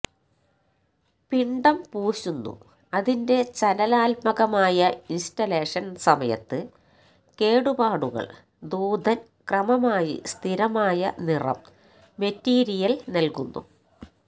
പിണ്ഡം പൂശുന്നു അതിന്റെ ചലനാത്മകമായ ഇൻസ്റ്റലേഷൻ സമയത്ത് കേടുപാടുകൾ ദൂതൻ ക്രമമായി സ്ഥിരമായ നിറം മെറ്റീരിയൽ നൽകുന്നു